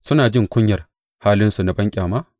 Suna jin kunyar halinsu na banƙyama?